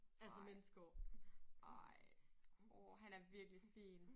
Ej ej åh han er virkelig fin